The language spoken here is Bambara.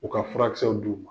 U ka furakisɛw d'u ma.